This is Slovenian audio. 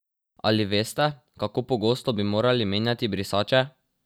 Ali veste kako pogosto bi morali menjati brisače?